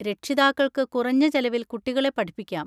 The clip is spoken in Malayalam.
രക്ഷിതാക്കൾക്ക് കുറഞ്ഞ ചെലവിൽ കുട്ടികളെ പഠിപ്പിക്കാം.